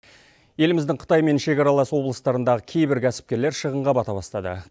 еліміздің қытаймен шекаралас облыстарындағы кейбір кәсіпкерлер шығынға бата бастады